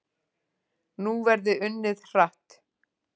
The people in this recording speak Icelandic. Nú verði unnið hratt